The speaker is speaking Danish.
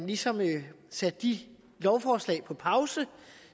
ligesom at sætte de lovforslag på pause